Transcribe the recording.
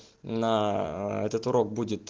на этот урок будет